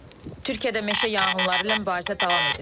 Türkiyədə meşə yanğınları ilə mübarizə davam edir.